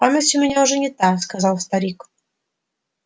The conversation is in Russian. память у меня уже не та сказал старик